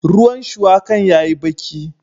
Ruwan shuwakan ya yi baki